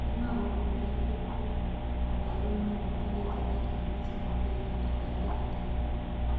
ni maundu marĩkũ meru maandikithitio thĩĩni wa business daily ĩthaa rihituku